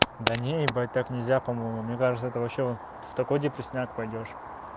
да не ебать так нельзя по-моему мне кажется это вообще вон в такой депресняк пойдёшь